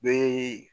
Bee